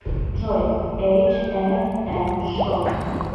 джой эйч эф эм шоу